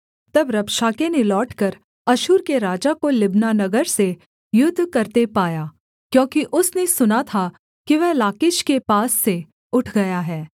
तब रबशाके ने लौटकर अश्शूर के राजा को लिब्ना नगर से युद्ध करते पाया क्योंकि उसने सुना था कि वह लाकीश के पास से उठ गया है